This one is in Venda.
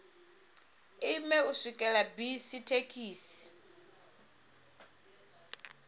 ime u swikela bisi thekhisi